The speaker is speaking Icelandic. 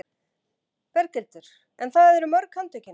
Berghildur: En það eru mörg handtökin?